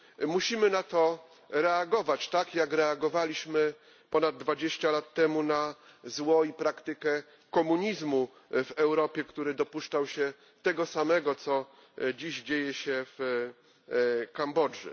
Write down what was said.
Musimy na to reagować, tak jak reagowaliśmy ponad dwadzieścia lat temu na zło i praktykę komunizmu w Europie, który dopuszczał się tego samego, co dziś dzieje się w Kambodży.